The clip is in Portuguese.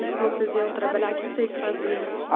E você falou que vocês iam trabalhar, o que vocês faziam?